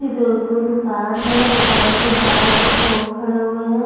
दु कोई दुकान हैं दुकान के बाहर कुछ लोग खड़े हुए हैं ।